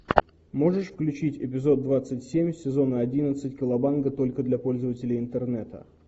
можешь включить эпизод двадцать семь сезона одиннадцать колобанга только для пользователей интернета